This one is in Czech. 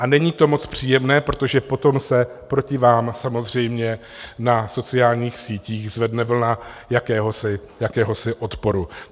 A není to moc příjemné, protože potom se proti vám samozřejmě na sociálních sítích zvedne vlna jakéhosi odporu.